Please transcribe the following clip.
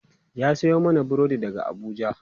ya Sayo mana burodi daga Abuja